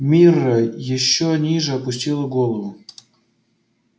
мирра ещё ниже опустила голову